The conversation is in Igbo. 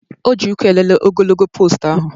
O ji ụkwụ elele ogologo poostu ahụ